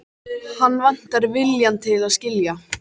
Hann vantar viljann til að skilja.